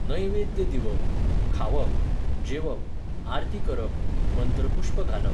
नैवेद्य दिवप, खावप, जेवप, आरती करप, मंत्रपुश्प घालप